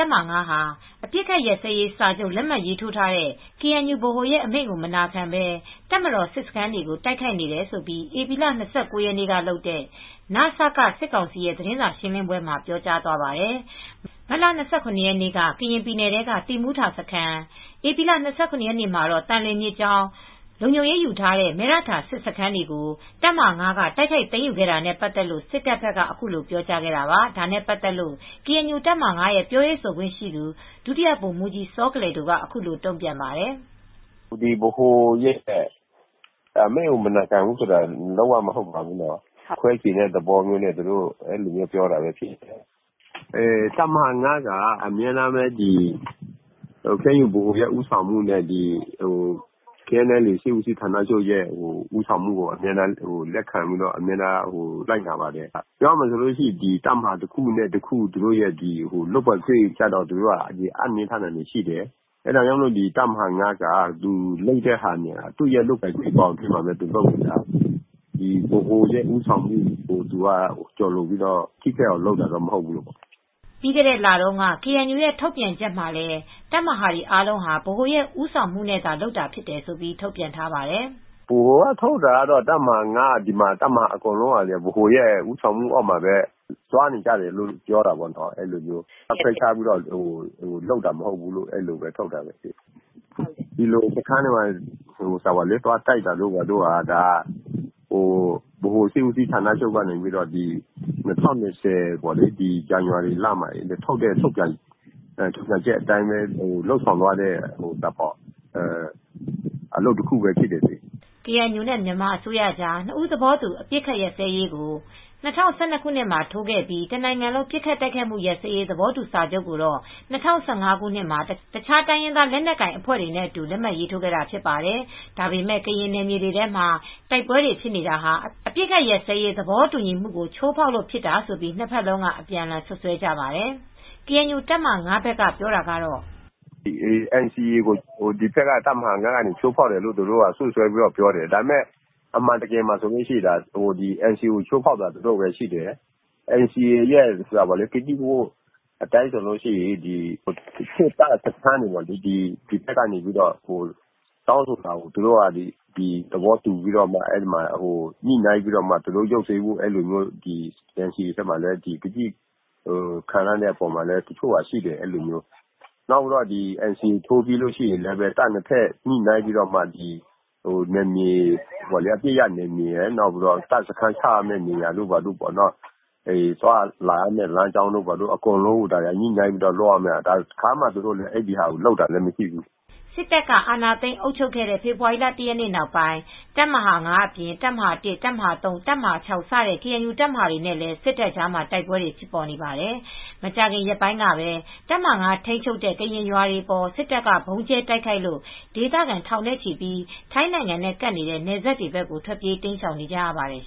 ပ်မဟာ ၅ ဟာ အပစ်အခတ်ရပ်စဲရေးစာချုပ် လက်မှတ်ထိုးထားတဲ့ KNU ဗဟိုရဲ့အမိန့်ကို မနာခံဘဲ တပ်မတော် စစ်စခန်းတွေကို တိုက်ခိုက်နေတယ်လို့ ဧပြီ ၂၉ ရက်နေ့ကလုပ်တဲ့ နစက စစ်ကောင်စီရဲ့ သတင်းစာရှင်းပွဲမှာ ပြောကြားသွားပါတယ်။ မတ်လ ၂၇ ရက်နေ့က ကရင်ပြည်နယ်ထဲက သီးမူထစခန်း၊ ဧပြီလ ၂၇ ရက်နေ့မှာ သံလွင်မြစ်ကြောင်းလုံခြုံရေးယူထားတဲ့ မယ့်ရထာစစ်စခန်းတွေကို တပ်မဟာ ၅ က တိုက်ခိုက်သိမ်းယူခဲ့တာနဲ့ ပတ်သက်လို့ စစ်ကောင်စီဘက်က ခုလို ပြောကြားခဲ့တာပါ။ ဒါနဲ့ပတ်သက်ပြီး ကေအန်ယူ တပ်မဟာ ၅ ရဲ့ပြောရေးဆိုခွင့်ရှိသူ ဒုတိယဗိုလ်မူးကြီးစောကလယ်ဒိုက အခုလို တုံ့ပြန်ပါတယ်။ "ဗဟိုရဲ့အမိန့်ကိုမနာခံဘူးဆိုတာ လုံးဝမဟုတ်ပါဘူးနော်။ ခွဲချင်တဲ့သဘောနဲ့ ဒီလိုမျိုးပြောတာဖြစ်မယ်။ တပ်မဟာ ၅ က ကေအန်ယူဗဟိုရဲ့ဦးဆောင်မူနဲ့ KNLA စစ်ဦးစီးဌာနရဲ့ ဦးဆောင်မှုကိုအမြဲတမ်းလက်ခံပြီး အမြဲတမ်းလိုက်နာပါတယ်။ ပြောရမယ်ဆိုရင် တပ်မဟာတခုနဲ့တခု လုပ်ပိုင်ခွင့်ကိုအင်နှင်းထားတာရှိတယ်။ တပ်မဟာ ၅ ဟာ သူ့ရဲ့လုပ်ပိုင်ခွ့င်နဲ့ လုပ်တာဖြစ်တယ်။ တပ်မဟာ ၅ ဟာသူ့ရဲ့လုပ်ပိုင်ခွင့်ဘောင်အရသာ လုပ်တာဖြစ်တယ်။ ဗဟိုရဲ့ဦးဆောင်မှုကို ကျော်လွန်ပြီးထိခိုက်အောင်လုပ်တာမဟုတ်ဘူး။" ပြီးခဲ့တဲ့လတုန်းက ကေအန်ယူရဲ့ ထုတ်ပြန်ချက်မှာလည်း တပ်မဟာတွေအားလုံးဟာ ဗဟိုရဲ့ ဦးဆောင်မူနဲ့သာလုပ်တယ်လို့ ထုတ်ပြန်ထားတာကိုလည်း ဒုဗိုလ်မှူးကြီးစောကလယ်ဒိုက ထောက်ပြပါတယ်။ "ဗဟိုကထုတ်တာကတော့ တပ်မဟာ ၅ ကော တပ်မဟာအားလုံးက ဗဟိုရဲ့ဦးဆောင်မူနဲ့လုပ်တာဖြစ်တယ်၊ ခွဲခြားပြီးလုပ်တာမဟုတ်ဘူးလို့ ထုတ်ပြန်ထားတယ်။ စခန်းတွေဘာတွေ တိုက်တာကတော့ ဗဟိုရဲ့၂၀၂၀ ဇန်နဝါရီလမှ ာ ထုတ်ပြန်ချက်အတိုင်း လုပ်ဆောင်တာဖြစ်ပါတယ်။" ကေအန်ယူနဲ့မြန်မာအစိုးရကြား နှစ်ဘက်သဘောတူ အပစ်အခတ်ရပ်စဲရေးကို ၂၀၁၂ ခုနှစ်မှာ ထိုးခဲ့ပြီး တနိုင်ငံလုံး ပစ်ခတ်တိုက်ခတ်မူရပ်စဲရေး သဘောတူစာချုပ်ကိုတော့ ၂၀၁၅ ခုနှစ်မှာ တခြားတိုင်းရင်းသား လက်နက်ကိုင်အဖွဲ့တွေနဲ့အတူ လက်မှတ်ရေးထိုးခဲ့တာဖြစ်ပါတယ်။ ဒါပေမဲ့ ကရင်နယ်မြေတွေထဲမှာ တိုက်ပွဲတွေဖြစ်နေတာဟာ အပစ်အခတ်ရပ်စဲရေး သဘောတူညီမှုကို ချိုးဖောက်တာကြောင့့်ဖြစ်တယ်လို့ နှစ်ဘက်လုံးက အပြန်အလှန် စွပ်စွဲကြပါတယ်။ တပ်မဟာ (၅) ဘက်ကပြောတာကတော့ - "NCA ကို တပ်မဟာ ၅ က ချိုးဖောက်တယ်ဆိုပြီး စွပ်စွဲပြောတာဖြစ်တယ်။ ဒါပေမယ့် အန်စီအေ ကိုချိုးဖောက်တာ သူတို့ပဲဖြစ်တယ်။ NCA ရဲ့ကတိကဝတ်အတိုင်းဆိုရင် စစ်တပ်စခန်းတွေကို ဒီဘက်တောင်းဆိုတဲ့အတိုင်း သဘောတူညှိနိုင်းဖို့ ရုပ်သိမ်းပေးဖို့ ကတိခံထားတာရှိတယ်။ အန်စီအေ ထိုးပြီးရင် အပစ်ရပ်နယ်မြေရဲ့တပ်စခန်းချရမယ့်ဟာတွေရယ် သွားလာရမယ့်နယ်မြေတွေကို သူတို့ညှိနိုင်းပြီးလုပ်ရမှာ တခါမှညှိနှိုင်းတာမရှိဘူး။" စစ်တပ်က အာဏာသိမ်း အုပ်ချုပ်ခဲ့တဲ့ ဖေဖော်ဝါရီလ ၁ ရက်နေ့ နောက်ပိုင်း တပ်မဟာ ၅ အပြင် တပ်မဟာ ၁၊ ၃၊ ၆ စတဲ့ ကေအန်ယူ တပ်မဟာတွေနဲ့လည်း စစ်တပ်ကြားမှာ တိုက်ပွဲတွေဖြစ်နေပါတယ်။ မကြာခင်ရက်ပိုင်းကပဲ တပ်မဟာ ၅ ထိန်းချုပ်မှုအောက်မှာရှိတဲ့ ကရင်ကျေးရွာတွေအပေါ် စစ်တပ်က ဗုံးကြဲတိုက်ခိုက်လို့ ဒေသခံ ထောင်နဲ့ချီ ထိုင်းနိုင်ငံနဲ့ကပ်နေတဲ့ နယ်စပ်ဘက်တွေကို ထွက်ပြေးတိမ်းရှောင်နေကြရပါတယ်